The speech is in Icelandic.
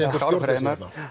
Einar